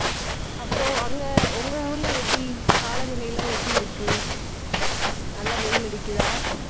அப்புறம் அங்க, உங்க ஊர்ல எப்படி காலநிலை எல்லாம் எப்படி இருக்கு நல்லா வெயில் அடிக்குதா